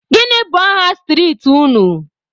Gịnị bụ aha street unu?